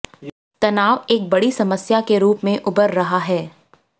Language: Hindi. तनाव एक बड़ी समस्या के रूप में उभर रहा है